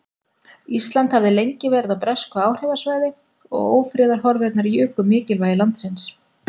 Ísland hafði lengi verið á bresku áhrifasvæði og ófriðarhorfurnar juku mikilvægi landsins.